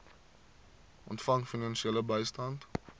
ontvang finansiële bystand